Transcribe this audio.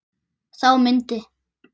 Þá myndi